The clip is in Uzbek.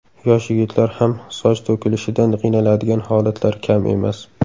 Yosh yigitlar ham soch to‘kilishidan qiynaladigan holatlar kam emas.